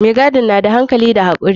Mai gadin na da hankali da hakuri.